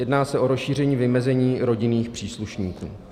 Jedná se o rozšíření vymezení rodinných příslušníků.